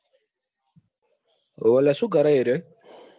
હોવે લ્યા શું કરે એરીયો?